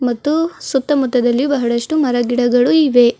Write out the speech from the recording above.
ಮತ್ತು ಸುತ್ತಮುತ್ತದಲ್ಲಿ ಬಹಳಷ್ಟು ಮರ ಗಿಡಗಳು ಇವೆ.